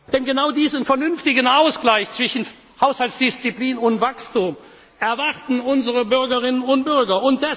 mehr. Denn genau diesen vernünftigen Ausgleich zwischen Haushaltsdisziplin und Wachstum erwarten unsere Bürgerinnen und Bürger!